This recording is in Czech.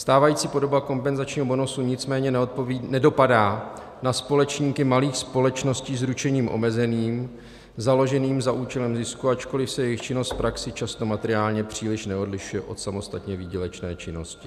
Stávající podoba kompenzačního bonusu nicméně nedopadá na společníky malých společností s ručením omezeným založených za účelem zisku, ačkoliv se jejich činnost v praxi často materiálně příliš neodlišuje od samostatné výdělečné činnosti.